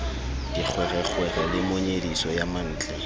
dikgwerekgwere le monyediso ya mantle